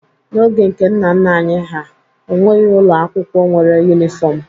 N'oge nke nna nna anyị ha, o nweghi ụlọ akwụkwọ nwere yunifọmụ.